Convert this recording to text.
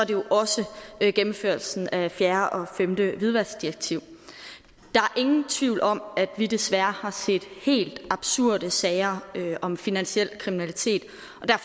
jo også gennemførelsen af fjerde og femte hvidvaskdirektiv der er ingen tvivl om at vi desværre har set helt absurde sager om finansiel kriminalitet